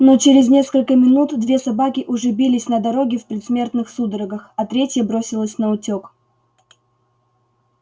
но через несколько минут две собаки уже бились на дороге в предсмертных судорогах а третья бросилась наутёк